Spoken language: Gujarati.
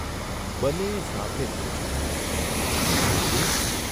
બંને એ સાથે જ પૂછ્યું, ' મા બાપુ!